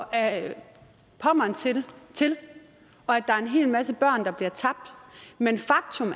ad pommern til og at der er en hel masse børn der bliver tabt men faktum